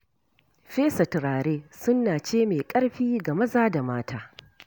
Fesa turare sunna ce mai ƙarfi ga maza da mata.